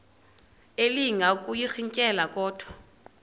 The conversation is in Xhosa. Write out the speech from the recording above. elinga ukuyirintyela kodwa